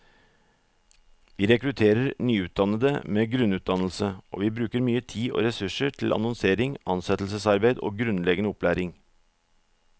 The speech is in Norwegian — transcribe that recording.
Vi rekrutterer nyutdannede med grunnutdannelse, og vi bruker mye tid og ressurser til annonsering, ansettelsesarbeid og grunnleggende opplæring.